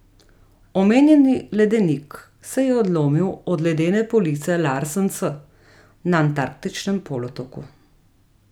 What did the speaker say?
Omenjeni ledenik se je odlomil od ledene police Larsen C na Antarktičnem polotoku.